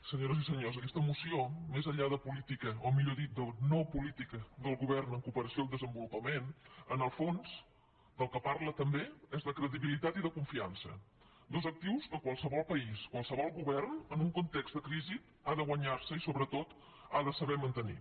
senyores i senyors aquesta moció més enllà de política o millor dit de no política del govern en cooperació al desenvolupament en el fons del que parla també és de credibilitat i de confiança dos actius que qualsevol país qualsevol govern en un context de crisi ha de guanyar se i sobretot ha de saber mantenir